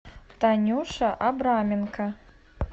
танюша абраменко